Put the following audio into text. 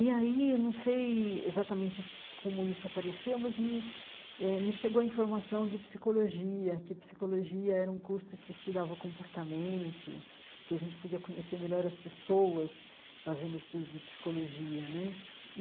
E aí, eu não sei exatamente como isso apareceu, mas me eh me chegou a informação de psicologia, que psicologia era um curso que estudava o comportamento, que a gente podia conhecer melhor as pessoas fazendo o estudo de psicologia né.